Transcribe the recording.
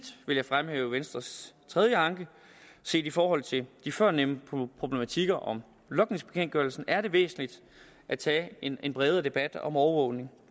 vil jeg fremhæve venstres tredje anke set i forhold til de førnævnte problematikker om logningsbekendtgørelsen er det væsentligt at tage en bredere debat om overvågning